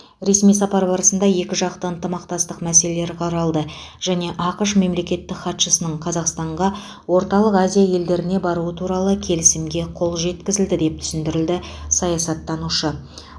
ресми сапар барысында екіжақты ынтымақтастық мәселелері қаралды және ақш мемлекеттік хатшысының қазақстанға орталық азия елдеріне баруы туралы келісімге қол жеткізілді деп түсіндірді саясаттанушы